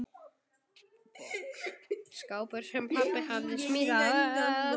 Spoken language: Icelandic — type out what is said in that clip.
Skápur, sem pabbi hafði smíðað.